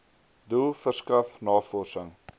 doel verskaf navorsing